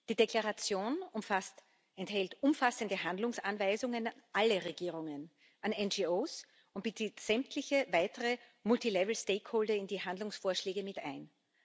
Die Deklaration enthält umfassende Handlungsanweisungen an alle Regierungen, an NGOs und bezieht sämtliche weitere in die Handlungsvorschläge mit ein.